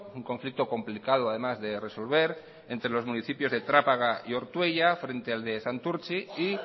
un conflicto complicado además de resolver entre los municipios de trápaga y ortuella frente al de santurtz i y